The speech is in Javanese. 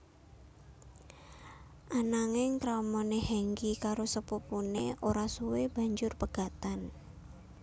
Ananging kramané Hengky karo sepupuné ora suwe banjur pegatan